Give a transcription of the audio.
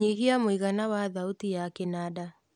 nyihia mũigana wa thauti ya kĩnanda